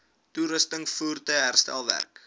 toerusting voertuie herstelwerk